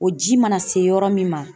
O ji mana se yɔrɔ min ma.